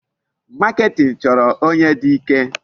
Marketing chọrọ onye dị ike.